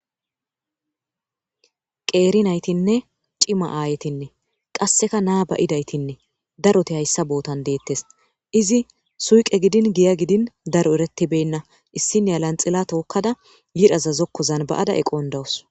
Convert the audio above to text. qeeri naytinne cima aayetinne qasseka naa ba7idaytinne daroti hayssa bootan deettes izi suuqe gidin giya gidin daro eretibenna issinya lanxila tookkada yidhaza zokkozan ba7ada eqon dawus.